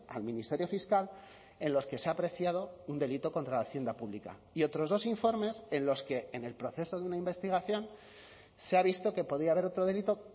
al ministerio fiscal en los que se ha apreciado un delito contra la hacienda pública y otros dos informes en los que en el proceso de una investigación se ha visto que podía haber otro delito